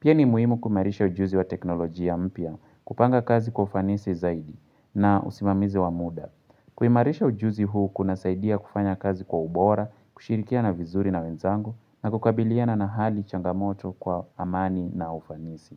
Pia ni muhimu kuimarisha ujuzi wa teknolojia mpya kupanga kazi kwa ufanisi zaidi na usimamizi wa muda. Kuimarisha ujuzi huu kunasaidia kufanya kazi kwa ubora, kushirikiana vizuri na wenzangu na kukabiliana na hali changamoto kwa amani na ufanisi.